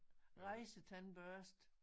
Rejsetandbørste